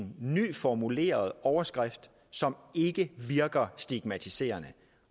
en nyformuleret overskrift som ikke virker stigmatiserende